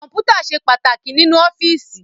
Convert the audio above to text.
Kọ́mpútà ṣe pàtàkì nínú ọ́fíìsì